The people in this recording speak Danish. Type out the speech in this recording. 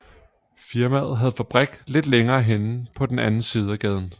Firmaet havde fabrik lidt længere henne på den anden side af gaden